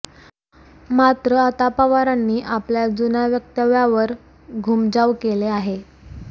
मात्र आता पवारांनी आपल्या जुन्या वक्तव्यावर घुमजाव केले आहे